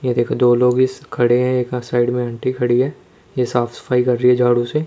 ये देखो दो लोग इस खड़े हैं एक साइड में आंटी खड़ी है ये साफ सफाई कर रही है झाड़ू से--